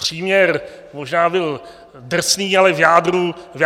Příměr možná byl drsný, ale v jádru sedí.